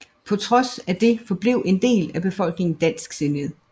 På trods af det forblev en del af befolkningen dansksindet